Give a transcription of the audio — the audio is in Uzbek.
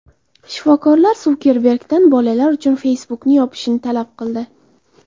Shifokorlar Sukerbergdan bolalar uchun Facebook’ni yopishni talab qildi.